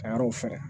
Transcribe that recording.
Ka yɔrɔw fɛɛrɛ